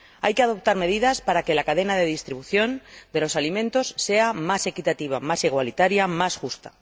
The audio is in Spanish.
Hay que adoptar medidas para que la cadena de distribución de los alimentos sea más equitativa, más igualitaria, más justa.